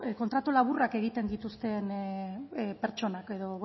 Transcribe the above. kontratu laburrak egiten dituzten pertsonak edo